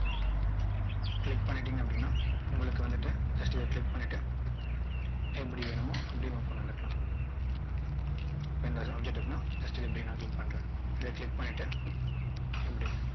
click பண்ணிட்டீங்க அப்படின்னா உங்களுக்கு வந்து just இதை click பண்ணிட்டு எப்படி வேணுமோ அப்படி கொண்டு வந்துக்கலாம் இப்போ இந்த object இருக்குன்னா just இப்படி நான் click பண்றேன் இதை click பண்ணிட்டு இப்படி